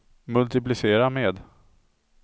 multiplicera med